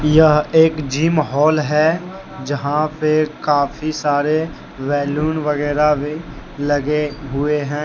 यह एक gym hall है यहां पे काफी सारे बैलून वगैरा भी लगे हुए हैं।